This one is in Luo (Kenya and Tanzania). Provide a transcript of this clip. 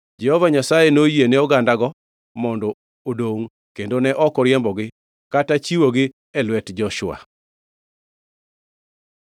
Jehova Nyasaye noyiene ogandago mondo odongʼ, kendo ne ok oriembogi kata chiwogi e lwet Joshua.